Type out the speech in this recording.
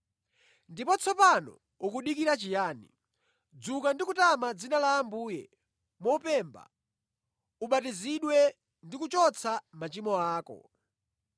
Ndipo tsopano ukudikira chiyani? Dzuka ndi kutama dzina la Ambuye mopemba, ubatizidwe ndi kuchotsa machimo ako.’